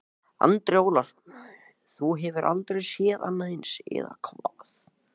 Andri Ólafsson: Þú hefur aldrei séð annað eins, eða hvað?